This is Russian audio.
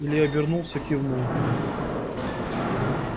илья обернулся кивнул